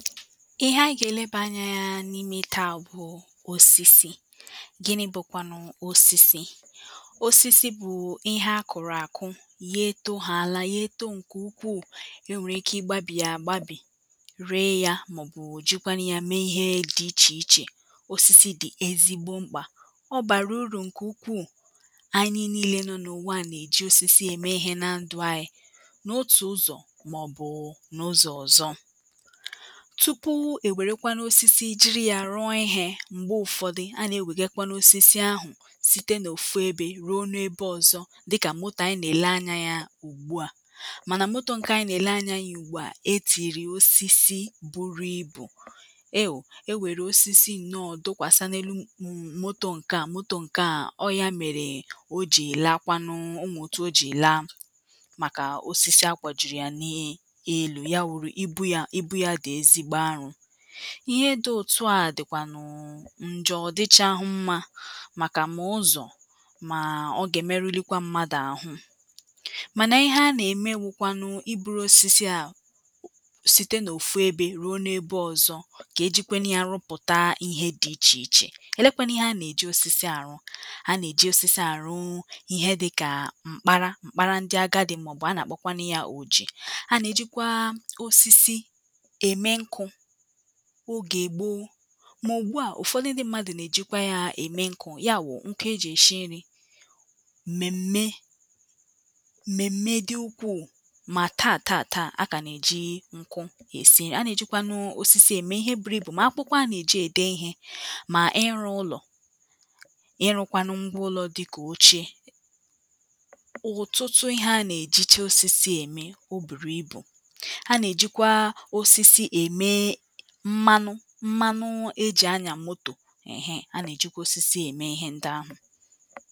ihe anyị ga-eleba anya ya n’ime taa bụ̀ osisi, gini bụ̀kwànụ̀ osisi osisi bụ̀ ihe akụ̀rụ̀ àkụ ya eto ha àla ya eto ǹkè ukwuù e nwèrè ike ịgbȧbì ya agbibì ree ya màọbụ̀ jukwanụ ya mee ihe dị ichè ichè osisi dị̀ ezigbo mkpà ọ bàrà urù ǹkè ukwuù anyị niile nọ̀ n’ụ̀wa nà-èji osisi ème ihe na ndụ̀ anyị̀ n’otù ụzọ̀ mà ọbụ̀ụ̀ n’ụzọ̀ ọ̀zọ. tupu ewerekwa n osisi jiri yȧ rụọ ihė m̀gbe ụ̀fọdụ a nà-ewè gekwanụ osisi àhụ̀ site n’òfu ebe ruo n’ebe ọ̀zọ dịkà moto a ànyị nà-èle anya yȧ ùgbuà mànà motò nke a ànyị nà-èle anya yȧ ùgbùà e tìnyere ya osisi buru ibù ewu ewère osisi nọọ̀ dọkwàsị anelu um motò nke à motò nke à ọ ya mèrè o jì laa kwanụ onwere otù o jì laa màkà osisi akwajuru ya nà um elu ya wùrù ibu yȧ ibu ya dị ezigbo alọ.ihe dị̇ òtùa dị̀kwànụ̀ ǹjọ ọ̀dịchahụ̇ mmȧ màkà m̀a ụzọ̀ mà ọ gà-èmerulikwa mmadụ̀. ahụ̇ mànà ihe a nà-ème wụ̇kwanụ ibu̇rù osisi à um site n’òfu ebė ruo n’ebe ọ̇zọ̇ kà ejikwe nà ya arụpụ̀ta ihe dị̇ ichè ichè elekwa nà ihe a nà-èji osisi àrụ a nà-èji osisi àrụ ihe dị̇kà m̀kpara m̀kpara ndị agadi̇ màọ̀bụ̀ a nà-àkpọkwanụ yȧ oji̇ a nà-èjikwa osisi eme nkụ ogè ègbo mà ògbuà ụ̀fọdụ ndị mmadụ̀ nà-èjịkwa yȧ ème nkụ̇ ya wụ̀ nkụ ejì èshi nri̇ m̀mèm̀me m̀mèm̀me dị ukwu̇ù mà taà taà taà a kà nà-èji nkụ è si na-èjikwanụ osisi ème ihe bùrù ibù mà akwụkwa a nà-èji ède ihe mà ịlụ ụlọ̀[paues] ịlụ̇kwanụ ngwa ụlọ̇ dị kà oche ụ̀tụtụ ihe a nà-èjicha osisi ème. o bùrù ibu̇ a na ejikwa osisi eme mmanụ ahụ e jì anyȧ motò ehe a nà-èjikwa osisi ème ihe ndị ahụ